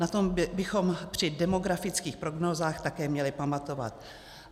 Na tom bychom při demografických prognózách také měli pamatovat.